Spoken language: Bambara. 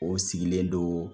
O sigilen don